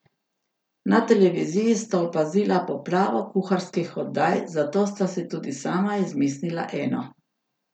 Na televiziji sta opazila poplavo kuharskih oddaj, zato sta si tudi sama izmislila eno.